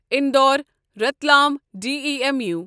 Indore Ratlam demo